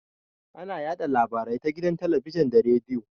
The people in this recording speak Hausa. Ana yaɗa labarai ta gidan talabijin da rediyo.